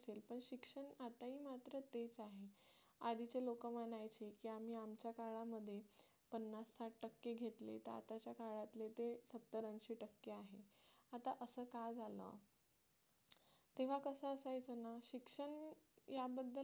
आधीचे लोक म्हणायचे की आम्ही आमच्या काळामध्ये पन्नास साठ टक्के घेतले तर आताच्या काळातले ते सत्तर अंशी टक्के आहेत आता असं का झालं तेव्हा कसं असायचं ना शिक्षण याबद्दल